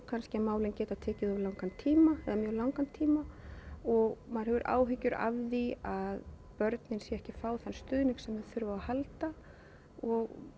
að málin geta tekið of langan tíma eða mjög langan tíma og maður hefur áhyggjur af því að börnin séu ekki að fá þann stuðning sem þau þurfa á að halda og